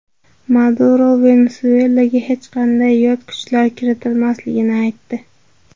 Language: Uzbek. Maduro Venesuelaga hech qanday yot kuchlar kiritilmasligini aytdi.